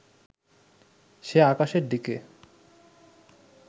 সে আকাশের দিকে